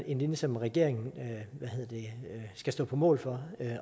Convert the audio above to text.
en linje som regeringen skal stå på mål for